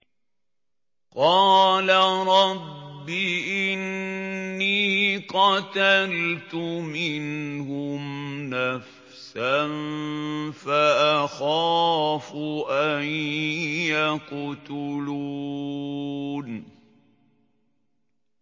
قَالَ رَبِّ إِنِّي قَتَلْتُ مِنْهُمْ نَفْسًا فَأَخَافُ أَن يَقْتُلُونِ